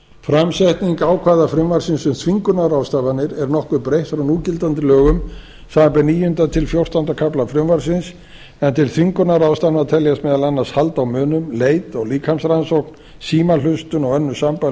framsetning ákvæða frumvarpsins um þvingunarráðstafanir er nokkuð breytt frá núgildandi lögum samanber níundi til fjórtánda kafla frumvarpsins en til þvingunarráðstafana teljast meðal annars hald á munum leit og líkamsrannsókn símahlustun og önnur sambærileg